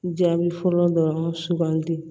Jaabi fɔlɔ dɔrɔn sugandi